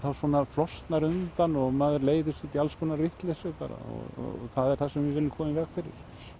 flosnar undan og maður leiðist út í alls konar vitleysu og það er það sem við viljum koma í veg fyrir